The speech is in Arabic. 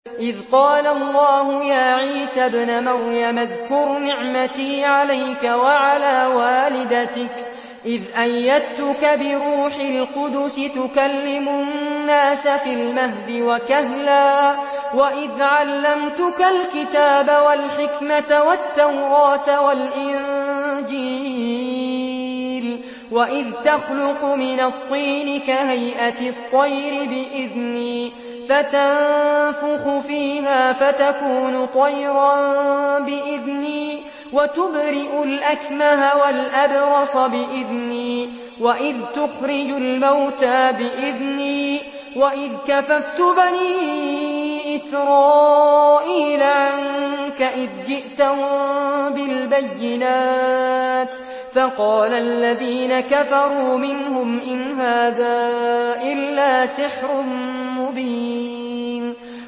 إِذْ قَالَ اللَّهُ يَا عِيسَى ابْنَ مَرْيَمَ اذْكُرْ نِعْمَتِي عَلَيْكَ وَعَلَىٰ وَالِدَتِكَ إِذْ أَيَّدتُّكَ بِرُوحِ الْقُدُسِ تُكَلِّمُ النَّاسَ فِي الْمَهْدِ وَكَهْلًا ۖ وَإِذْ عَلَّمْتُكَ الْكِتَابَ وَالْحِكْمَةَ وَالتَّوْرَاةَ وَالْإِنجِيلَ ۖ وَإِذْ تَخْلُقُ مِنَ الطِّينِ كَهَيْئَةِ الطَّيْرِ بِإِذْنِي فَتَنفُخُ فِيهَا فَتَكُونُ طَيْرًا بِإِذْنِي ۖ وَتُبْرِئُ الْأَكْمَهَ وَالْأَبْرَصَ بِإِذْنِي ۖ وَإِذْ تُخْرِجُ الْمَوْتَىٰ بِإِذْنِي ۖ وَإِذْ كَفَفْتُ بَنِي إِسْرَائِيلَ عَنكَ إِذْ جِئْتَهُم بِالْبَيِّنَاتِ فَقَالَ الَّذِينَ كَفَرُوا مِنْهُمْ إِنْ هَٰذَا إِلَّا سِحْرٌ مُّبِينٌ